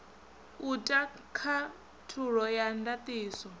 u ta khathulo ya ndatiso